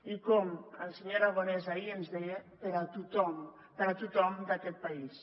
i com el senyor aragonès ahir ens deia per a tothom per a tothom d’aquest país